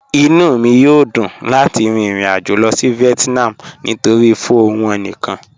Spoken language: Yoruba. Inú mi yó dùn láti rìn ìrìn-àjọ̀ lọ sí Vietnam nítorí̀ pho wọn níkan.